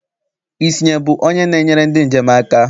Isnye bụ onye na-enyere ndị njem aka?